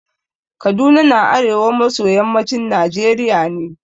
Kaduna na arewa maso yammacin Najeriya ne.